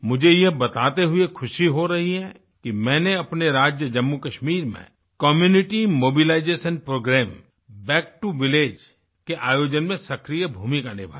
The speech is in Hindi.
मुझे यह बताते हुए खुशी हो रही है कि मैंने अपने राज्य जम्मूकश्मीर में community mobilisation programme back to village के आयोजन में सक्रिय भूमिका निभाई